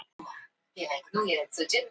Samstaða um að fresta uppboðum